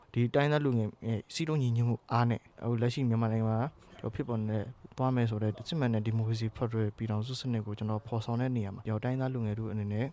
"ဒီတိုင်းရင်းသားလူငယ်ရဲ့ စည်းလုံးညီညွတ်မှုအားနဲ့ လက်ရှိမြန်မာနိုင်ငံမှာဖြစ်ပေါ်နေတဲ့ သွားမယ်ဆိုတဲ့ စစ်မှန်တဲ့ဒီမိုကရေစီဖက်ဒရယ် ပြည်ထောင်စုစနစ် ကို ဖော်ဆောင်တဲ့ နေရာမှာ တိုင်းရင်းသားလူငယ်ထုအနေနဲ့